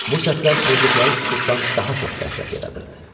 Bu səslər pozduqları sükutdan daha çox dəhşət yaradırdı.